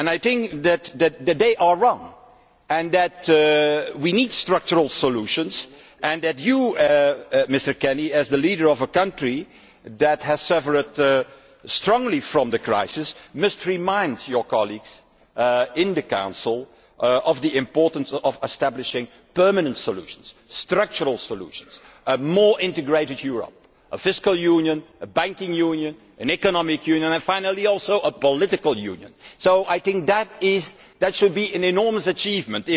I think that they are wrong and that we need structural solutions and that you, Mr Kenny, as the leader of a country that has suffered strongly because of the crisis, must remind your colleagues in the Council of the importance of establishing permanent solutions, structural solutions, a more integrated Europe, a fiscal union, a banking union, an economic union and finally also a political union. So I think that would be an enormous achievement